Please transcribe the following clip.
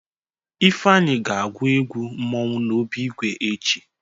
Ifeanyị ga-agwụ egwu mmọnwụ n'obi ìgwè echi.